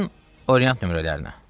Yəqin Orient nömrələrinə.